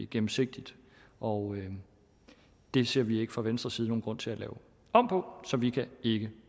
gennemsigtigt og det ser vi ikke fra venstres side nogen grund til at lave om på så vi kan ikke